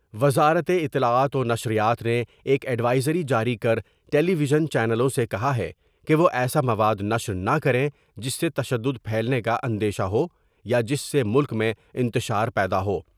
وزارت اطلاعات ونشریات نے ایک ایڈوائزری جاری کر ٹیلی ویزن چینلوں سے کہا ہے کہ وہ ایسا مواد نشر نہ کریں جس سے تشدد پھیلنے کا اندیشہ ہو یا جس سے ملک میں انتشار پیدا ہو ۔